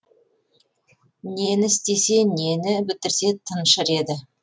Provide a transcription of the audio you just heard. нені істесе нені бітірсе тыншыр еді